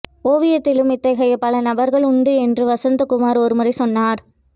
ஓவியத்திலும் இத்தகைய பல நபர்கள் உண்டு என்று வசந்தகுமார் ஒருமுறை சொன்னார்